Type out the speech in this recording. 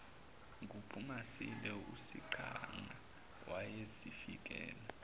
nguphumasilwe uyisiqhwaga wayezifikela